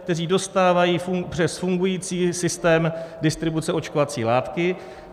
Tam dostávají přes fungující systém distribuce očkovací látky.